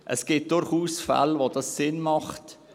Es gibt durchaus Fälle, bei denen es Sinn macht.